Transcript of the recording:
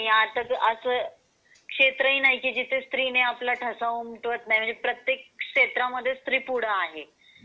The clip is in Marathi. आणि आता असा क्षेत्र हि नाही जिथे स्त्री ने आपला ठसा उमटवत नाही प्रत्येक क्षेत्र मध्ये स्त्री पुढे आहेत.